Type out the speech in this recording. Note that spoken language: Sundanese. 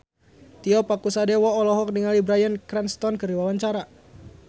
Tio Pakusadewo olohok ningali Bryan Cranston keur diwawancara